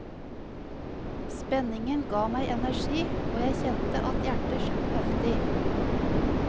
Spenningen ga meg energi, og jeg kjente at hjertet slo heftig.